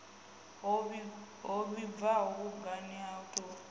ho vhibvaho mugudi o tou